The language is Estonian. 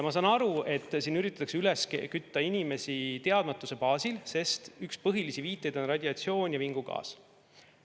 Ma saan aru, et siin üritatakse inimesi üles kütta teadmatuse baasil, sest üks põhilisi viiteid on radiatsioon ja vingugaas.